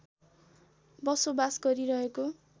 बसोबास गरिरहेको